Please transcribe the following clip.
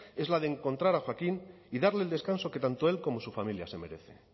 es la de encontrar joaquín y darle el descanso que tanto él como su familia se merece